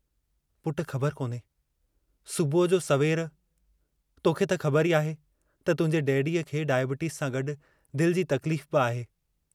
पुट ख़बर कोन्हे सुबुह जो सवेर, तोखे त ख़बर ई आहे त तुहिंजे डैडीअ खे डाइबिटीज़ सां गड्डु दिल जी तकलीफ़ बि आहे।